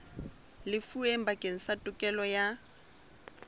lefuweng bakeng sa tokelo ya